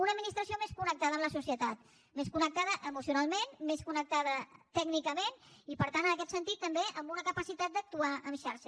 una administració més connectada amb la societat més connectada emocionalment més connectada tècnicament i per tant en aquest sentit també amb una capacitat d’actuar en xarxa